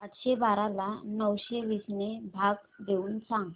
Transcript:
आठशे बारा ला नऊशे वीस ने भाग देऊन सांग